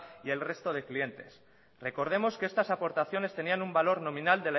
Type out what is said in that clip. y el resto de clientes recordemos que estas aportaciones tenían un valor nominal